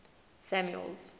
samuel's